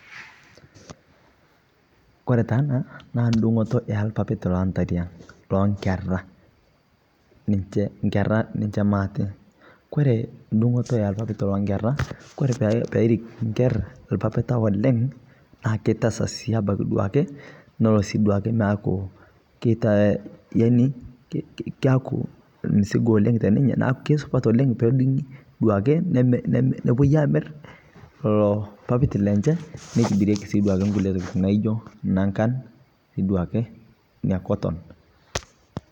kore anaa naa ndungotoo ee lpapit le nkeraa, kore poodungii nemerii neitibiriekii nkulie tokitin naijoo nankan anaa ee cotton